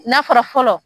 Nafara fɔlɔ